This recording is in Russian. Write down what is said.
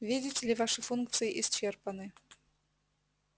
видите ли ваши функции исчерпаны